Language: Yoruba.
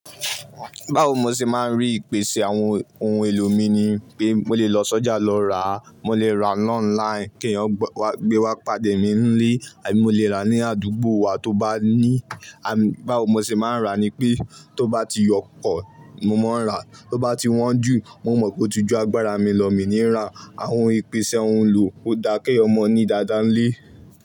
Báwo mo ṣe máa ń rí ìpèsè àwọn ohun èlò mi ni pé mo lè lọ sọ́jà lọ rà á, mo lè rà á lónláìnì kí èèyàn gbé wá pàdé mi nílé àbí mo lè rà á ní àdúgbò wa tó bá ní. Báwo mo ṣe máa ń rà á ni pé tó bá ti yọpọ̀ mo máa ń rà á, tó bá ti wọ́n jù mo mọ̀ pé ó ti ju agbára mi lọ, mi ní rà. Àwọn ìpèsè ohun èlò kò dá kí èèyàn mọ ní dáadáa nílé.